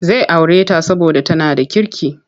Zai aure ta saboda tana da kirki.